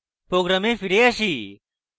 program ফিরে আসি